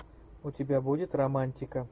у тебя будет романтика